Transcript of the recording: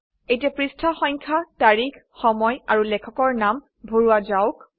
এতিয়া পৃষ্ঠা সংখ্যা তাৰিখ সময় আৰু লেখকৰ নাম ভৰোৱা যাওক